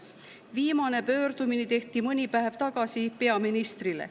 Viimane pöördumine tehti mõni päev tagasi peaministrile.